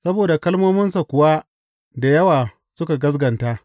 Saboda kalmominsa kuwa da yawa suka gaskata.